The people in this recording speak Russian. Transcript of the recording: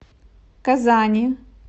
казани